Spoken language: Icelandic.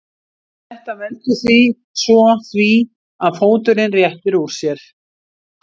Þetta veldur svo því að fóturinn réttir úr sér.